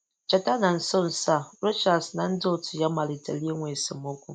Cheta na nso nso a, Rochas na ndị otu ya malitere inwe esemokwu.